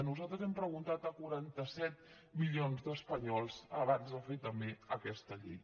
nosaltres hem preguntat a quaranta set milions d’espanyols abans de fer també aquesta llei